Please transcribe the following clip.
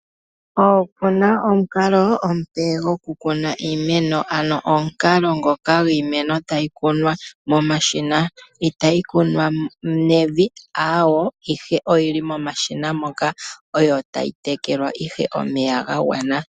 Opu na omukalo omupe gokukuna iimeno, ano omukalo ngoka gwiimeno tayi kunwa momashina. Itayi kunwa nevi, aawo, ihe oyi li momashina moka, yo tayi tekelwa ihe omeya ga gwana.